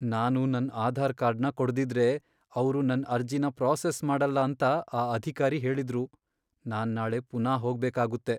ನಾನು ನನ್ ಆಧಾರ್ ಕಾರ್ಡ್ನ ಕೊಡ್ದಿದ್ರೆ, ಅವ್ರು ನನ್ ಅರ್ಜಿನ ಪ್ರಾಸೆಸ್ ಮಾಡಲ್ಲ ಅಂತ ಆ ಅಧಿಕಾರಿ ಹೇಳಿದ್ರು. ನಾನ್ ನಾಳೆ ಪುನಾ ಹೋಗ್ಬೇಕಾಗುತ್ತೆ.